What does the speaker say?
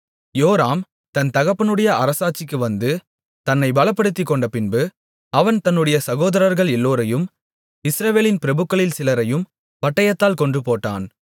யோராம் தன் தகப்பனுடைய அரசாட்சிக்கு வந்து தன்னைப் பலப்படுத்திக்கொண்டபின்பு அவன் தன்னுடைய சகோதரர்கள் எல்லோரையும் இஸ்ரவேலின் பிரபுக்களில் சிலரையும் பட்டயத்தால் கொன்றுபோட்டான்